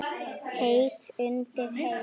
Heitt undir Heimi?